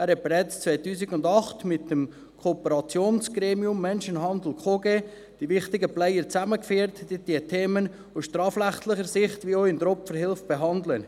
Er hat bereits 2008 mit dem Kooperationsgremium Menschenhandel KOGE die wichtigen Player zusammengeführt, welche diese Themen sowohl aus strafrechtlicher Sicht als auch seitens der Opferhilfe behandeln.